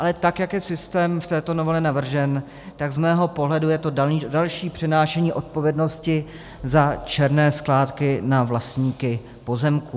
Ale tak jak je systém v této novele navržen, tak z mého pohledu je to další přenášení odpovědnosti za černé skládky na vlastníky pozemků.